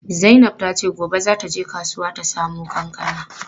Zainab tace gobe za ta je kasuwa ta samo kankana.